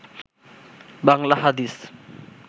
বাংলা হাদিস